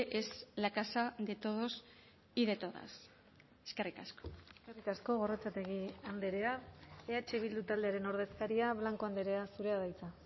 es la casa de todos y de todas eskerrik asko eskerrik asko gorrotxategi andrea eh bildu taldearen ordezkaria blanco andrea zurea da hitza